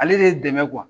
Ale de ye dɛmɛ